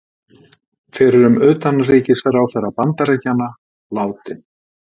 Fyrrum utanríkisráðherra Bandaríkjanna látinn